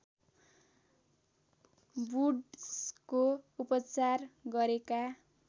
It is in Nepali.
वुड्सको उपचार गरेका